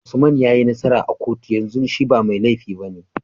Usman yayi nasara a kotu yanzu shi ba me lefi bane